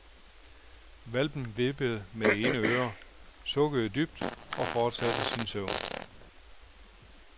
Hvalpen vippede med det ene øre, sukkede dybt og fortsatte sin søvn.